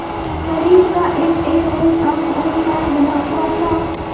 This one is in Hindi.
शरीर का एकएक रोम आँख और कान बना हुआ था